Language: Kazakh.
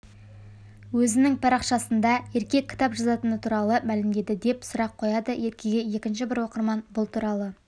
өзінің парақшасында ерке кітап жазатыны туралы мәлімдеді деп сұрақ қояды еркеге екінші бір оқырман бұл туралы